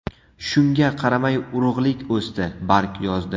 Shunga qaramay, urug‘lik o‘sdi, barg yozdi.